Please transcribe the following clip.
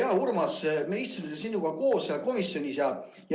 Ole hea, Urmas, me istusime sinuga koos seal komisjonis.